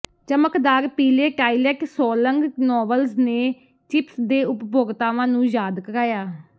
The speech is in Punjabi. ਚਮਕਦਾਰ ਪੀਲੇ ਟਾਇਲਟ ਸੋਲੰਗ ਨੋਵਲਜ਼ ਨੇ ਚਿਪਸ ਦੇ ਉਪਭੋਗਤਾਵਾਂ ਨੂੰ ਯਾਦ ਕਰਾਇਆ